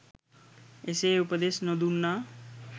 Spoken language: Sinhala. එසේ උපදෙස් නොදුන්නා